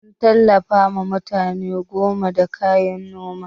Mun tallafawa mutane goma da kayan Noma.